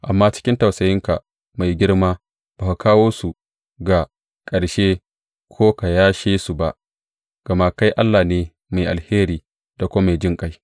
Amma cikin tausayinka mai girma ba ka kawo su ga ƙarshe ko ka yashe su ba, gama kai Allah ne mai alheri da kuma mai jinƙai.